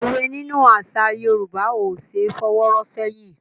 Òwe nínú àṣà Yorùbá ò ṣé fọwọ́ rọ́ ṣẹ́yìn.